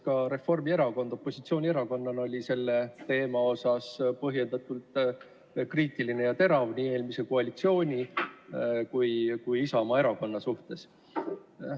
Ka Reformierakond oli opositsioonierakonnana selle teema puhul põhjendatult kriitiline ja terav nii eelmise koalitsiooni kui ka Isamaa Erakonna suhtes.